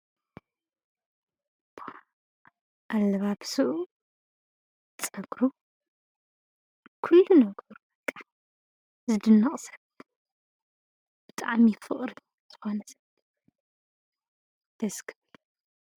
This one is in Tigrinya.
አለባብስኡ ፀጉሩ ኩሉ ነገሩ በቃ ዝድነቅ ሰብ እዪ ብጣዕሚ ፍቅሪ ዝኮነ ሰብ ደሰ ክብል!